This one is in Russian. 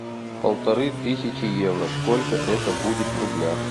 полторы тысячи евро сколько это будет в рублях